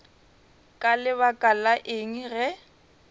ka lebaka la eng ge